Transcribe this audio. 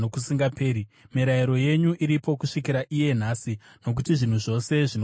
Mirayiro yenyu iripo kusvikira iye nhasi, nokuti zvinhu zvose zvinokushumirai.